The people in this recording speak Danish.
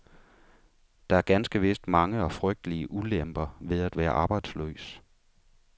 Der er ganske vist mange og frygtelige ulemper ved at være arbejdsløs.